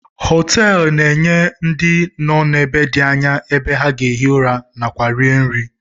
Hoteelu na-enye ndị nọ n'ebe dị anya ebe ha ga-ehi ụra na kwa rie nri.